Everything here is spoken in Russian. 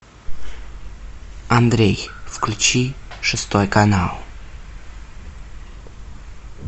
андрей включи шестой канал